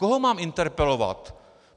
Koho mám interpelovat?